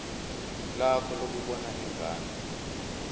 lakho lokubona ingane